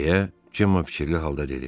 deyə Cemo fikirli halda dedi.